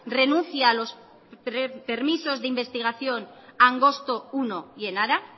renuncie a los permisos de investigación angostomenos uno y enara